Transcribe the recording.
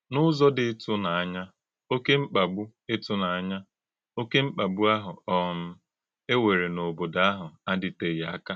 N’ụ́zọ̀ dị ìtụ̀nànyà, òké mkpàgbù ìtụ̀nànyà, òké mkpàgbù áhụ̀ um e wèrè n’òbòdò áhụ̀ adị̀tè̄ghị̀ ákà.